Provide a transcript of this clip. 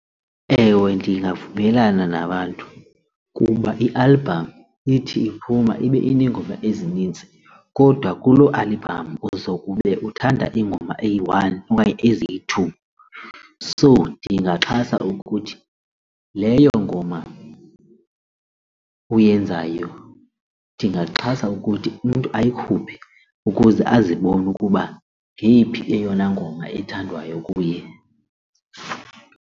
Ewe, ndingavumelana nabantu kuba ialbham ithi iphuma ibe ineengoma ezinintsi kodwa kuloo albhamu uzokube uthanda ingoma eyi-one okanye eziyi-two. So ndingaxhasa ukuthi leyo ngoma uyenzayo ndingaxhasa ukuthi umntu ayikhuphe ukuze azibone ukuba ngeyiphi yeyona ngoma ethandwayo kuye.